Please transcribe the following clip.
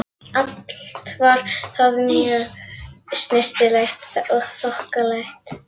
Allt var þar mjög snyrtilegt og þokkalegt.